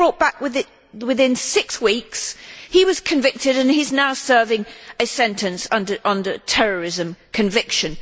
He was brought back within six weeks. He was convicted and he is now serving a sentence under a terrorism conviction.